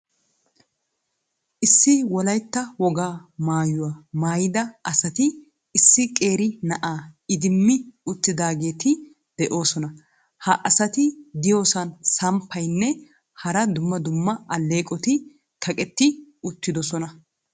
Issi Wolaytta wogaa maayuwa maayida asati issi qeeri na'aa idimmi uttidaageeti de'oosona. Ha asati de'iyoosan samppaynne hara dumma dumma alleeqoti kaqqetti uttidoosona.